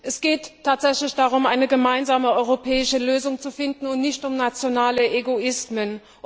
Es geht tatsächlich darum, eine gemeinsame europäische Lösung zu finden, und nicht um nationale Egoismen.